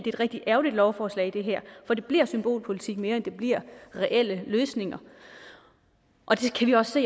et rigtig ærgerligt lovforslag for det bliver symbolpolitik mere end det bliver reelle løsninger vi kan også